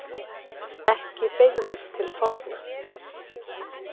Ekki beygðist til forna: